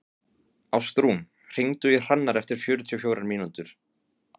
Ástrún, hringdu í Hrannar eftir fjörutíu og fjórar mínútur.